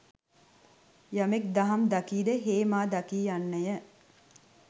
යමෙක් දහම් දකීද හේ මා දකී යන්නය.